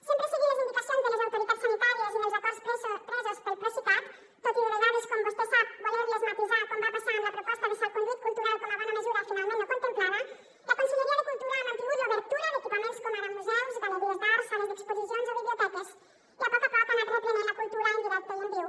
sempre seguint les indicacions de les autoritats sanitàries i dels acords presos pel procicat tot i de vegades com vostè sap voler les matisar com va passar amb la proposta de salconduit cultural com a bona mesura finalment no contemplada la conselleria de cultura ha mantingut l’obertura d’equipaments com ara museus galeries d’art sales d’exposicions o biblioteques i a poc a poc ha anat reprenent la cultura en directe i en viu